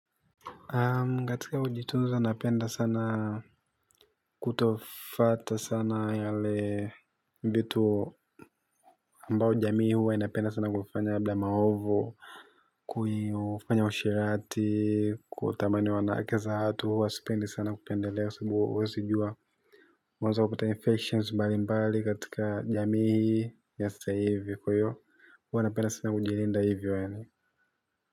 Katika ujitunza napenda sana kutofwata sana yale vitu ambao jamii huwa inapenda sana kufanya labda mahovo. Kufanya usherati kutamani wanawake za watu huwa sipendi sana kupendelea sababu uwazijua unaweza kuta impetience mbalimbali katika jamii nasta hivyo kwa hiyo huwa anapenda sana kujilinda hivyo yani.